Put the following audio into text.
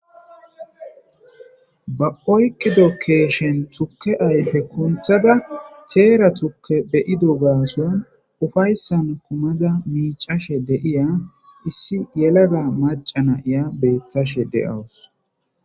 ba oykido keeshen tukke ayfe kunthada teera tukke beyido gaason ufayssan kumada miicashe de7iya issi yelaga maca na7iya beettashe de7awus